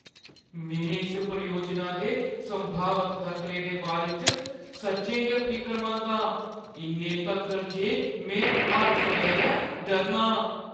में इस परियोजना दे संभावत खतरें दे बारे च सच्चें गै फिकरमंद आं, इन्ने तक्कर जे में हर सवेरै डरना आं।